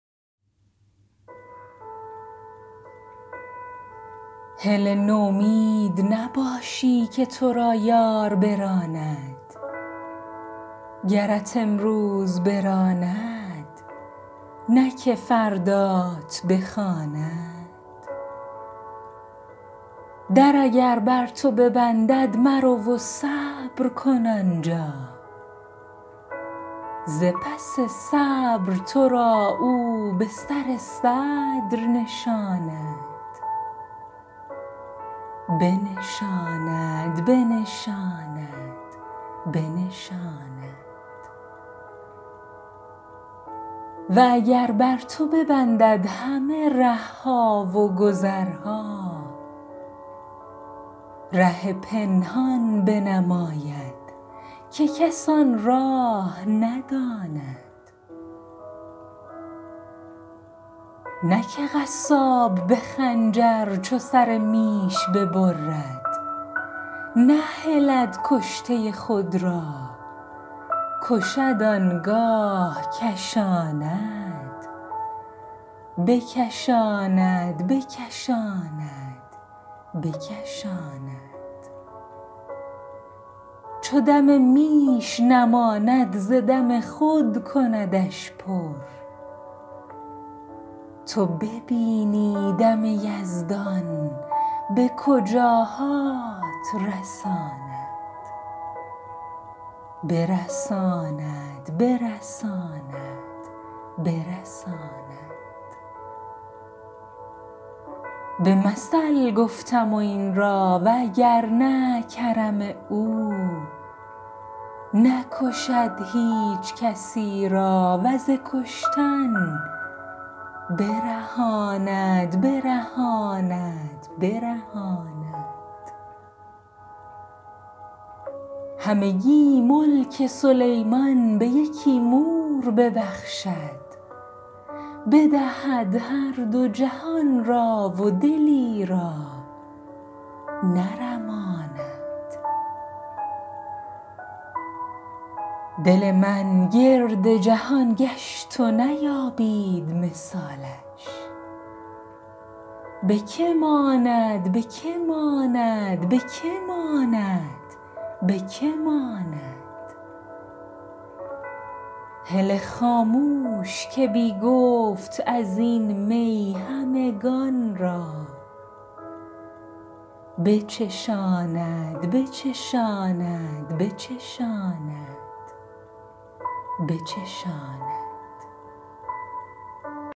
هله نومید نباشی که تو را یار براند گرت امروز براند نه که فردات بخواند در اگر بر تو ببندد مرو و صبر کن آن جا ز پس صبر تو را او به سر صدر نشاند و اگر بر تو ببندد همه ره ها و گذرها ره پنهان بنماید که کس آن راه نداند نه که قصاب به خنجر چو سر میش ببرد نهلد کشته خود را کشد آن گاه کشاند چو دم میش نماند ز دم خود کندش پر تو ببینی دم یزدان به کجاهات رساند به مثل گفته ام این را و اگر نه کرم او نکشد هیچ کسی را و ز کشتن برهاند همگی ملک سلیمان به یکی مور ببخشد بدهد هر دو جهان را و دلی را نرماند دل من گرد جهان گشت و نیابید مثالش به که ماند به که ماند به که ماند به که ماند هله خاموش که بی گفت از این می همگان را بچشاند بچشاند بچشاند بچشاند